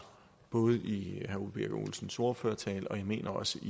både i herre ole birk olesens ordførertale og jeg mener også